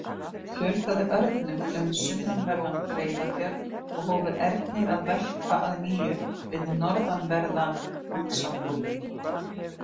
Fjölgaði örnum um sunnanverðan Breiðafjörð og hófu ernir að verpa að nýju við norðanverðan Faxaflóa.